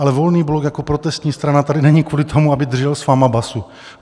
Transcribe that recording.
Ale Volný blok jako protestní strana tady není kvůli tomu, aby držel s vámi basu.